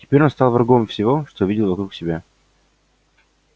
теперь он стал врагом всего что видел вокруг себя